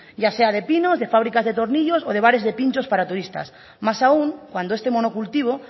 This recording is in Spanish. ya sea de pino de fábricas de tornillos o de bares de pinchos para turistas más aún cuando este monocultivo